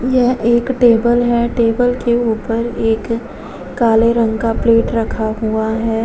यह एक टेबल है। टेबल के ऊपर एक काले रंग का प्लेट रखा हुआ है।